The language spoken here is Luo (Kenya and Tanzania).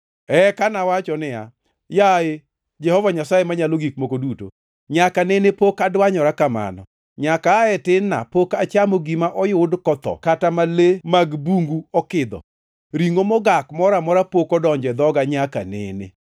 Eka nawacho niya, “Yaye, Jehova Nyasaye Manyalo Gik Moko Duto! Nyaka nene pok adwanyora kamano. Nyaka aa e tin-na pok achamo gima oyud kotho, kata ma le mag bungu okidho. Ringʼo mogak moro amora pok odonjo e dhoga nyaka nene.”